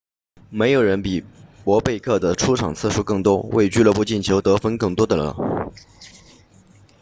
没有人比博贝克 bobek 的出场次数更多为俱乐部进球得分更多的了